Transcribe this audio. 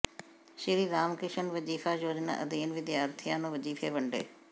ਸ੍ਰੀਰਾਮ ਕ੍ਰਿਸ਼ਨ ਵਜ਼ੀਫ਼ਾ ਯੋਜਨਾ ਅਧੀਨ ਵਿਦਿਆਰਥੀਆਂ ਨੂੰ ਵਜ਼ੀਫ਼ੇ ਵੰਡੇ